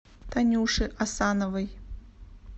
танюши асановой